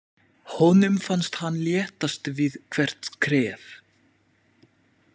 Honum fannst hann léttast við hvert skref.